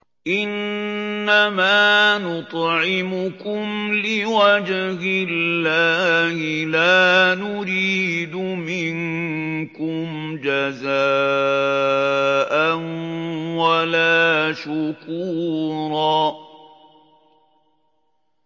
إِنَّمَا نُطْعِمُكُمْ لِوَجْهِ اللَّهِ لَا نُرِيدُ مِنكُمْ جَزَاءً وَلَا شُكُورًا